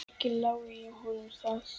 Ekki lái ég honum það.